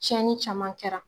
Cɛni caman kɛra